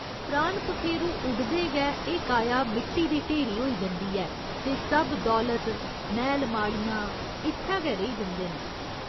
प्राण पखेरू उडदे गै एह् काया मिट्टी दी ढेरी होई जंदी ऐ ते सब दौलत, मैह्‌ल माड़ियां इत्थै गै रेही जंदे न।